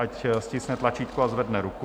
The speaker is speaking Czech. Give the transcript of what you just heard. Ať stiskne tlačítko a zvedne ruku.